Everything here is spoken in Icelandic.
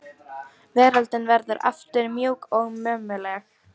Veröldin verður aftur mjúk og mömmuleg.